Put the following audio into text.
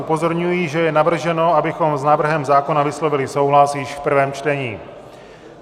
Upozorňuji, že je navrženo, abychom s návrhem zákona vyslovili souhlas již v prvém čtení.